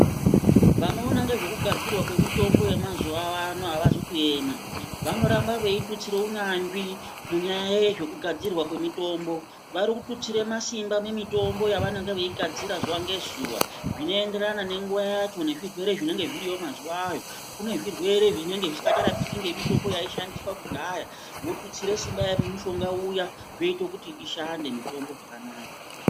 Vanoona ngezve kugadzirwa kwezvemutombo yemazuva ano avazi kuema vanoramba vetutsira kunyanzvi munyaya yezvekugadzirwa kwemitombo varikututsira marimba kumutombo yavanenge veigadzira zuwa nezuwa zvienderana nenguwa yacho nezvirwere zvinenge zviriyo mazuwa awawo kune zvirwere zvinenge zvisinga charapiki nemitombo yaishandiswa kudhaya wotutsira simba mumushonga uya zvoita kuti ishande mitombo zvakanaka